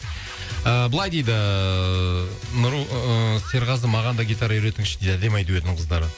ыыы былай дейді ііі ы серғазы маған да гитара үйретіңізші дейді әдемі ай дуэтінің қыздары